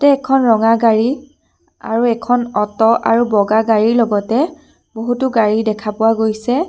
ইয়াতে এখন ৰঙা গাড়ী আৰু এখন অট' আৰু বগা গাড়ীৰ লগতে বহুতো গাড়ী দেখা পোৱা গৈছে।